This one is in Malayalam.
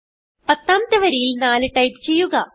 പത്താമത്തെ വരിയിൽ 4 ടൈപ്പ് ചെയ്യുക